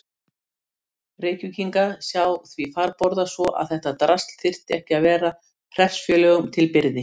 Reykvíkinga sjá því farborða svo að þetta drasl þyrfti ekki að vera hreppsfélögunum til byrði?